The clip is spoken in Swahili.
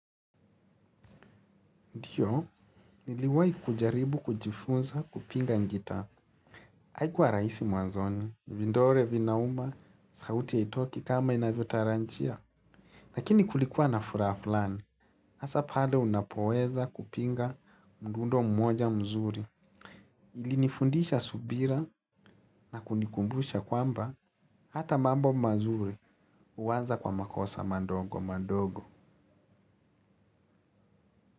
Ndiyo, niliwai kujaribu kujifunza kupiga gita. Haikuwa rahisi mwanzoni, vidole vinauma, sauti haitoki kama inavyo tarajia. Lakini kulikuwa nafuraha flani, asa pale unapoweza kupiga mdundo mmoja mzuri. Ilinifundisha subira na kunikumbusha kwamba hata mambo mazuri uanza kwa makosa madogo madogo.